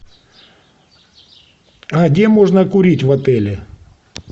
где можно курить в отеле